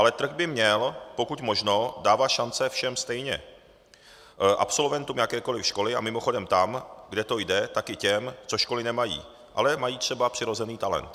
Ale trh by měl pokud možno dávat šance všem stejně, absolventům jakékoli školy, a mimochodem tam, kde to jde, tak i těm, co školy nemají, ale mají třeba přirozený talent.